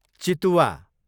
चितुवा